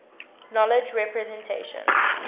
knowledge representation